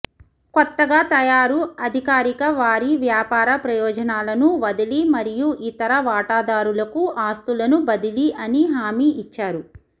కొత్తగా తయారు అధికారిక వారి వ్యాపార ప్రయోజనాలను వదిలి మరియు ఇతర వాటాదారులకు ఆస్థులను బదిలీ అని హామీ ఇచ్చారు